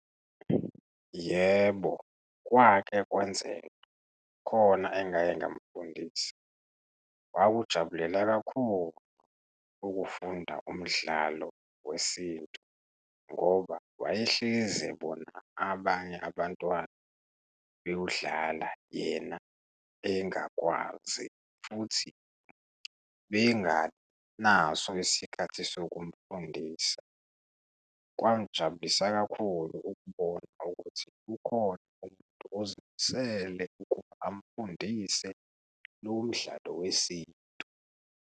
Yebo, kwake kwenzeka. Khona engake ngamfundisa, wakujabulela kakhulu ukufunda umdlalo wesintu ngoba wayehlezi ebona abanye abantwana bewudlala yena engakwazi, futhi bengabi naso isikhathi sokumfundisa. Kwangijabulisa kakhulu ukubona ukuthi ukhona umuntu ozimisele ukuba amfundise lowo mdlalo wesintu.